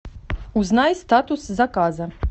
узнай статус заказа